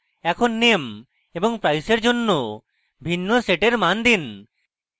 এখন name এবং price এর জন্য ভিন্ন set মান দিন